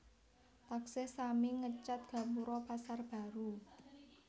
Taksih sami ngecet gapuro Pasar Baru